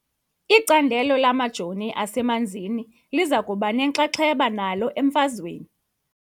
Icandelo lamajooniasemanzini liza kuba nenxaxheba nalo emfazweni .